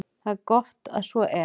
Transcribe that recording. Það er gott að svo er.